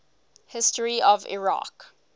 history of iraq